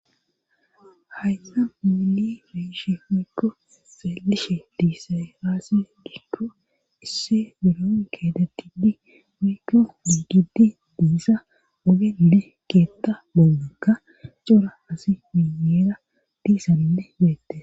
Hayta mumili beishe wiikko saalishe diise raase giikko isse beroon kedatidi wiikko ugiddi diissa ogede keetta bollakka cora asi miyeera diisanne beette